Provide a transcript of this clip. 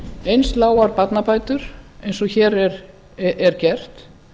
eins lágar barnabætur eins og hér er gert